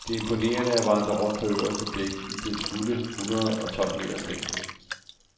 Det er imponerende at vandre rundt på øverste dæk i dets fulde hundrede og tolv meters længde.